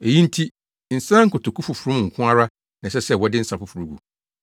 Eyi nti, nsa nkotoku foforo mu nko ara na ɛsɛ sɛ wɔde nsa foforo gu.